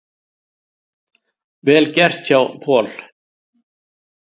Vel gert hjá Paul.